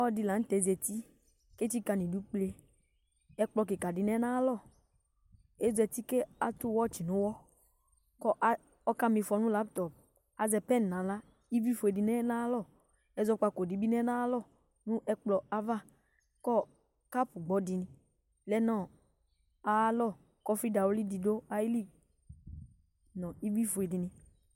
Ɔlɔdi laŋtɛ zati , ketsika nidu kpeƐkplɔ kika di lɛ nayalɔ Ɔzati katʋ wɛtsi nʋwɔKʋ ɔkama ifɔ nʋ laptɔpAzɛ pɛn naɣla Ivli fue di lɛ nayalɔƐzɔkpako dibi lɛ nayalɔ nʋ ɛkplɔ yɛa'avaKɔɔ kap gbɔ di lɛ nʋ ayalɔ Kʋ ɔfi dawli di dʋ ayili ,nu ivli fue dini